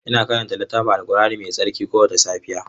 Ina karanta littafin alqur'ani mai tsarki kowace safiya.